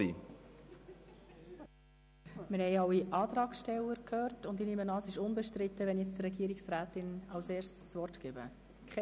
Wir haben alle Antragsteller gehört, und ich nehme an, dass es unbestritten ist, wenn ich der Regierungsrätin als Erstes das Wort erteile.